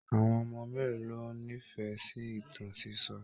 Àwọn ọmọ mélòó ló n'ifẹ sí ìtàn sisọ?